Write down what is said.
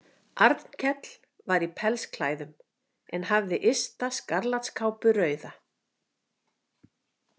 Arnkell var í pellsklæðum en hafði ysta skarlatskápu rauða.